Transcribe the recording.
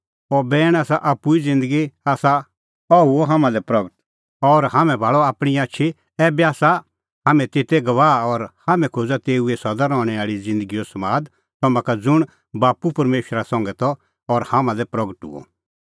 अह बैण ज़ुंण आप्पू ई ज़िन्दगी आसा अह हुअ हाम्हां लै प्रगट और हाम्हैं भाल़अ आपणीं आछी ऐबै आसा हाम्हैं तेते गवाह और हाम्हैं खोज़ा तेऊ ई सदा रहणैं आल़ी ज़िन्दगीओ समाद तम्हां का ज़ुंण बाप्पू परमेशरा संघै त और हाम्हां लै हुअ प्रगट